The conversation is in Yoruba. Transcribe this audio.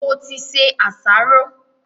Mo ti se àsáró.